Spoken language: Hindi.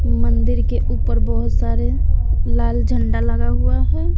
मंदिर के ऊपर बहोत सारे लाल झंडा लगा हुआ है।